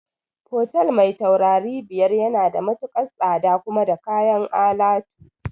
Fotel mai taurari biyar yana da matukar tsada kuma da kayan alatu